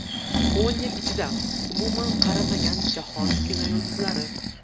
O‘n yil ichida umuman qarimagan jahon kinoyulduzlari .